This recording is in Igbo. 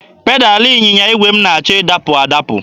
Pedalụ ịnyịnya igwe m na-achọ ịdapụ adapụ.